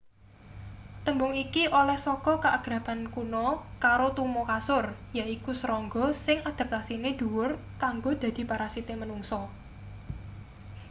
tembung iki oleh saka kaakraban kuno karo tuma kasur yaiku serangga sing adaptasine dhuwur kanggo dadi parasite manungsa